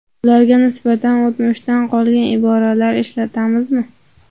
Ularga nisbatan o‘tmishdan qolgan iboralar ishlatamizmi?